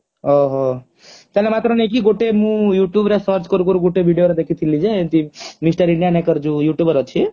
ଓହୋ ତାହେଲେ ମାତ୍ର ନେଇକି ଗୋଟେ ମୁଁ youtube ରେ search କରୁ କରୁ ଗୋଟେ video ରେ ଦେଖିଥିଲି ଯେ ଏମିତି mister indian hacker ଯୋଉ youtuber ଅଛି